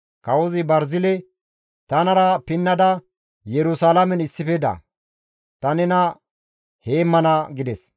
Kawozi Barzile, «Tanara pinnada Yerusalaamen issife da; ta nena heemmana» gides.